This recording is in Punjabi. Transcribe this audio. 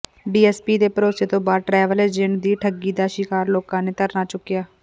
ਡੀਐਸਪੀ ਦੇ ਭਰੋਸੇ ਤੋਂ ਬਾਅਦ ਟਰੈਵਲ ਏਜੰਟ ਦੀ ਠੱਗੀ ਦਾ ਸ਼ਿਕਾਰ ਲੋਕਾਂ ਨੇ ਧਰਨਾ ਚੁੱਕਿਆ